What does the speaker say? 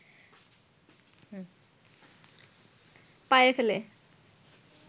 পায়ে ফেলে